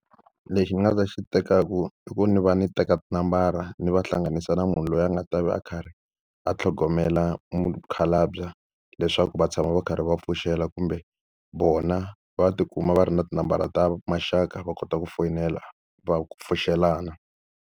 Lexi ni nga ta xi tekaka i ku ni va ni teka tinambara ni va hlanganisa na munhu loyi a nga ta va a karhi a tlhogomela mukhalabye, leswaku va tshama va karhi va pfuxela kumbe vona va tikuma va ri na tinambara ta maxaka va kota ku foyinela va pfuxelana.